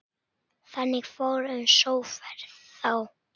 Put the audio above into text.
Þannig fór um sjóferð þá.